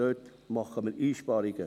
Dort machen wir also Einsparungen.